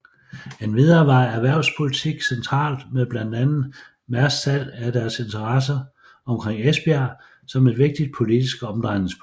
Endvidere var erhvervspolitik centralt med blandt andet Mærsks salg af deres interesser omkring Esbjerg som et vigtigt politisk omdrejningspunkt